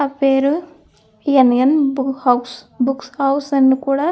ఆ పేరు house books house అని కూడా ఇక్కడ రాసి ఉన్నట్టుగా మనకి ఇక్కడ కనిపిస్తుంది.